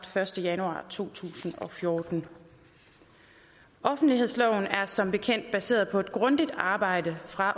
første januar to tusind og fjorten offentlighedsloven er som bekendt baseret på et grundigt arbejde fra